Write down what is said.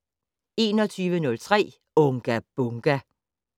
21:03: Unga Bunga!